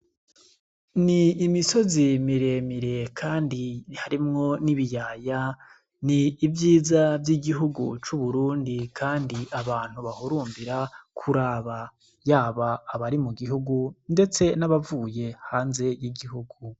Ni imisozi miremire, kandi harimwo n'ibiyaya ni ivyiza vy'igihugu c'uburundi, kandi abantu bahurumbira kuraba yaba abari mu gihugu, ndetse n'abavuye hanze y'igihugu.